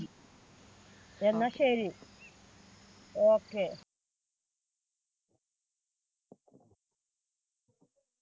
എന്നാൽ ശരി. Okay.